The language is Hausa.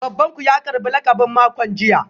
Baban ku ya karbi lakabin makon jiya?